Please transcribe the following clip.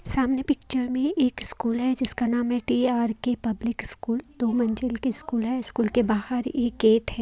सामने पिक्चर में एक स्कूल है जिसका नाम है टी_आर_के पब्लिक स्कूल दो मंजिल की स्कूल है स्कूल के बाहर एक गेट है।